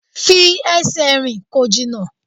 Fi ẹsẹ̀ rìn, kò jìnnà!